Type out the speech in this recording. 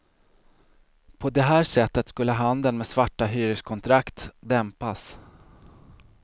På det här sättet skulle handeln med svarta hyreskontrakt dämpas.